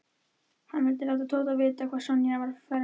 Hann vildi láta Tóta vita hvað Sonja var ferleg.